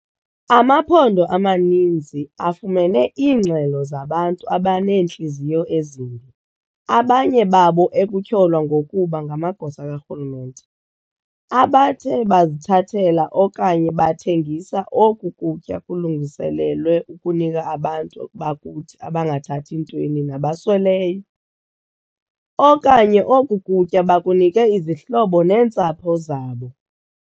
Amaphondo amaninzi afumene iingxelo zabantu abaneentliziyo ezimbi, abanye babo ekutyholwa ngokuba ngamagosa karhulumente, abathe bazithathela okanye bathengisa oku kutya kulungiselelwe ukunika abantu bakuthi abangathathi ntweni nabasweleyo, okanye oku kutya bakunike izihlobo neentsapho zabo.